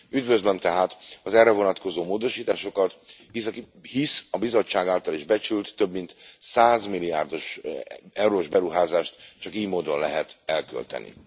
Üdvözlöm tehát az erre vonatkozó módosításokat, hisz a Bizottság által is becsült több mint 100 milliárd eurós beruházást csak ily módon lehet elkölteni.